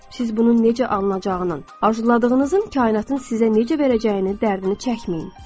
Siz bunun necə alınacağının, arzuladığınızın kainatın sizə necə verəcəyinin dərdini çəkməyin.